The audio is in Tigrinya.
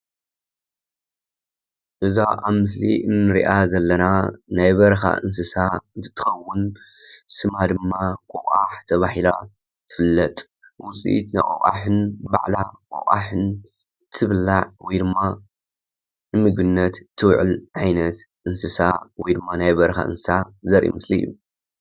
እዛ ኣብ ምስሊ እንርእያ ዘለና ናይ በረካ እንስሳ እንትትከውን ስማ ድማ ቆቋሕ ተባሂላ ትፈለጥ ። ውፂኢት ናይ ቆቋሕን ባዕላ ቆቋሕን ትብላዕ ወይ ድማ ንምግብነት ትውዕል ዓይነት እንስሳ ወይ ድማ ናይ በረኻ እንስሳ ዘርኢ ምስሊ እዩ ።